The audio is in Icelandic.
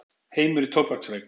Heimur í tóbaksreyk.